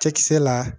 Cɛkisɛ la